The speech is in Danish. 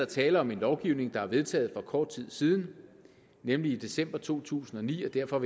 tale om en lovgivning der er vedtaget for kort tid siden nemlig i december to tusind og ni og derfor